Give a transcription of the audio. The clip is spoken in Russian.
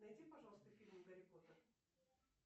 найди пожалуйста фильм гарри поттер